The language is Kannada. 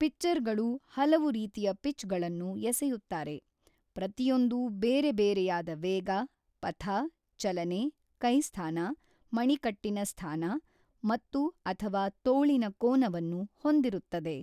ಪಿಚ್ಚರ್‌ಗಳು ಹಲವು ರೀತಿಯ ಪಿಚ್‌ಗಳನ್ನು ಎಸೆಯುತ್ತಾರೆ, ಪ್ರತಿಯೊಂದೂ ಬೇರೆ ಬೇರೆಯಾದ ವೇಗ, ಪಥ, ಚಲನೆ, ಕೈ ಸ್ಥಾನ, ಮಣಿಕಟ್ಟಿನ ಸ್ಥಾನ ಮತ್ತು/ಅಥವಾ ತೋಳಿನ ಕೋನವನ್ನು ಹೊಂದಿರುತ್ತದೆ.